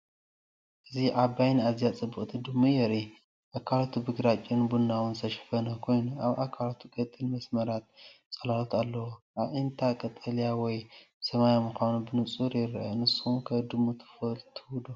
እዚ ዓባይን ኣዝያ ጽብቕትን ድሙ የርኢ። ኣካላቱ ብግራጭን ቡናውን ዝተሸፈነ ኮይኑ፡ ኣብ ኣካላቱ ቀጢን መስመራት ጽላሎት ኣለዎ። ኣዒንታ ቀጠልያ ወይ ሰማያዊ ምዃኑ ብንጹር ይርአ። ንስኩም ከ ድሙ ትፈትው ዶ?